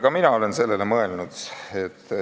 Ka mina olen sellele mõelnud.